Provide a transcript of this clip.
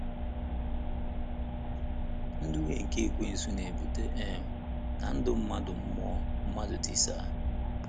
Nduhie nke Ekwensu na-ebute um ka ndụ mmadu mmụọ mmadụ tisaa